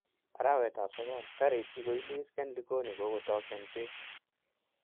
Arawet ap sogol 9: Karit kigoilis en likoni ko kagotok en pek.